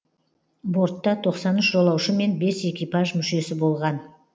бортта тоқсан үш жолаушы мен бес экипаж мүшесі болған